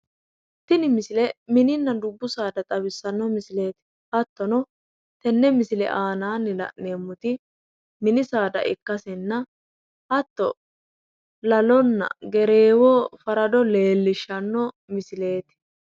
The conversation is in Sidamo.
Tinni misile minninna dubbu saada xawissano misileeti hattono tene misile aannaanni la'neemoti minni saada ikkasenna hattono lalo, gereewonna farado leellishshanno misileeti.